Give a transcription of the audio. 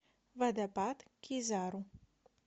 водопад кизару